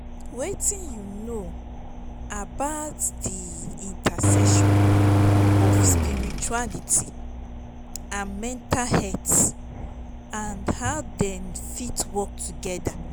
wetin you know about di intersection of spirituality and mental health and how dem fit work together?